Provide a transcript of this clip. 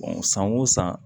san wo san